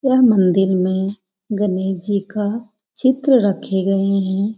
यह मंदिर में गणेश जी का चित्र रखे गए हैं।